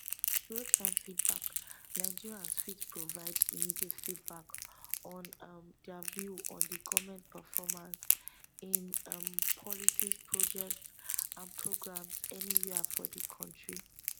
realtime feedback nigerians fit provide immediate feedback on um dia view on di goment performance in um policies projects and programs anywia for di kontri